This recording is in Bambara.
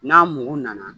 N'a mugu nana